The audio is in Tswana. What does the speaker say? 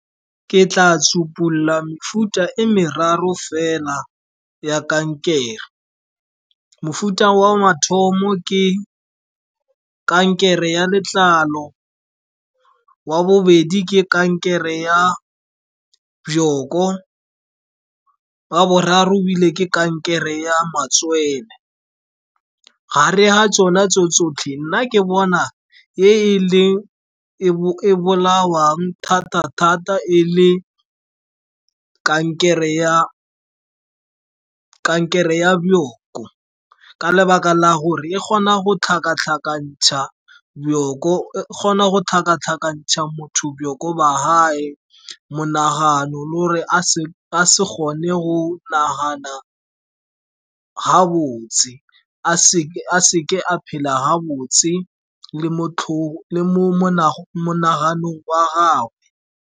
Ke tla sopulla mefuta e meraro fela ya kankere. Mofuta wa mathomo ke kankere ya letlalo. Wa bobedi ke kankere ya bjoko. Wa boraro ile ke kankere ya matswele. Gare ga tsona tso tsotlhe, nna ke bona e e leng e e bolawang thata-thata e le ke kankere ya bjoko, ka lebaka la gore e kgona go tlhakatlhakantsha motho bjoko ba gage, monagano lo re a se kgone go nagana ga botse, a seke a phela ha botse le monaganong wa gagwe.